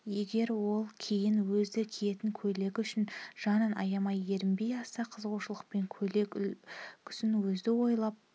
егер ол кейін өзі киетін көйлегі үшін жанын аямай ерінбей аса қызығушылықпен көйлек үлгісін өзі ойлап